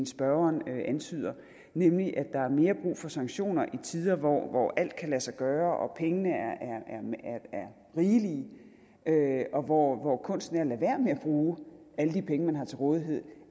spørgeren antyder nemlig at der er mere brug for sanktioner i tider hvor alt kan lade sig gøre og pengene er rigelige og hvor hvor kunsten er at lade være med at bruge alle de penge man har til rådighed